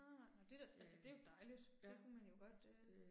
Nej nej nåh det da, altså det er jo dejligt, det kunne man jo godt øh